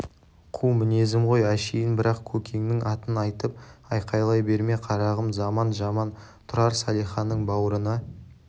қу мінезім ғой әшейін бірақ көкеңнің атын айтып айқайлай берме қарағым заман жаман тұрар салиханың бауырына